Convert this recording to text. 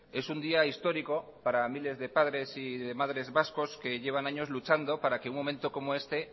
es un día histórico para miles de padres y de madres vascos que llevan años luchando para que un momento como este